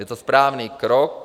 Je to správný krok.